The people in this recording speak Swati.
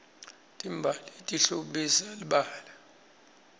timbali tihlobisa libala